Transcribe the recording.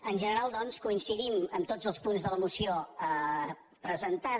en general doncs coincidim amb tots els punts de la moció presentada